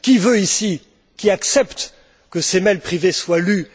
Qui veut ici, qui accepte que ses mails privés soient lus?